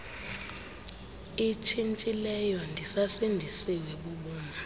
itshintshileyo ndisasindisiwe bubomi